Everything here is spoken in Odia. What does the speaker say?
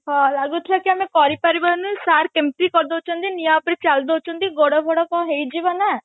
ହଁ ଲାଗୁଥିଲା କି ଆମେ କରି ପାରିବାନି sir କେମତି କରି ଦଉଛନ୍ତି ନିଆଁ ଉପରେ ଚାଲି ଦଉଛନ୍ତି ଗୋଡ ଫୋଡ କଣ ହେଇଯିବ ନା